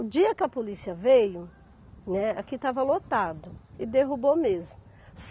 O dia que a polícia veio, né, aqui estava lotado e derrubou mesmo.